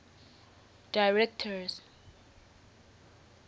directors